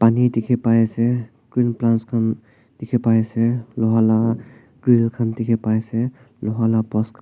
pani dikhi pai ase green plants khan dikhi pai ase loha laga grill khan dikhi pai ase loha lah pas--